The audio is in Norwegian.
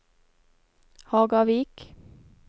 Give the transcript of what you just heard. Hagavik